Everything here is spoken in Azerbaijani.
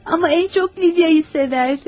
Amma ən çox Lidiya'nı sevərdi.